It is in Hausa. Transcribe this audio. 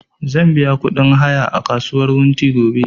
Zan biya ƙudin haya a kasuwar wunti gobe